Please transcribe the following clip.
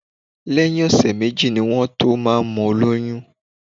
Lẹ́yìn ọ̀sẹ̀ méjì ni wọ́n tó máa ń mọ olóyún